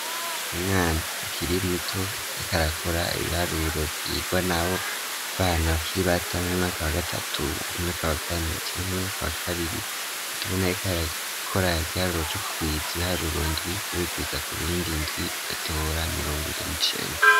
Umwana akiri muto ariko arakora ibiharuro vyigwa nabo bana bakiri bata mu mwaka wa gatatu umwaka wa kane canke umwaka wa kabiri aho tubona ariko akora igiharuro c'ukurwiriza ibiharuro ndwi ubikwiza kubindi ndwi ugatora mirongwire n'icenda